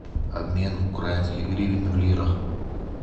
обмен украинских гривен в лирах